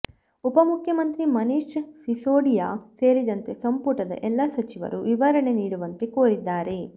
ಉಪಮುಖ್ಯಮಂತ್ರಿ ಮನೀಷ್ ಸಿಸೋಡಿಯಾ ಸೇರಿದಂತೆ ಸಂಪುಟದ ಎಲ್ಲಾ ಸಚಿವರು ವಿವರಣೆ ನೀಡುವಂತೆ ಕೋರಿದ್ದಾರೆ